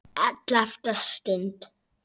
ELLEFTA STUND